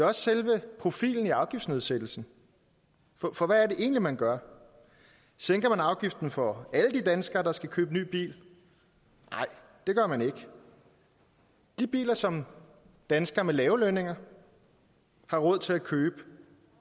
også selve profilen i afgiftsnedsættelsen for hvad er det egentlig man gør sænker man afgiften for alle de danskere der skal købe ny bil nej det gør man ikke de biler som danskere med lave lønninger har råd til at købe